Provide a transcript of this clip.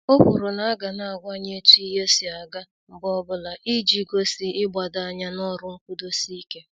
O kwuru na aga na àgwà ya etu ihe si aga mgbe ọbụla, iji gosi igbado anya n'ọrụ nkwudosi ike.